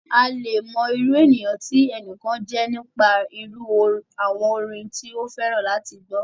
A le è mọ irú ènìyàn tí ẹnìkan jẹ́ nípa irú àwọn orin tí ó fẹ́ràn láti gbọ́.